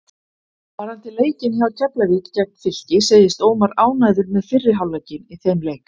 Varðandi leikinn hjá Keflavík gegn Fylki segist Ómar ánægður með fyrri hálfleikinn í þeim leik.